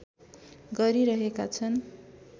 गरिरहेका छन्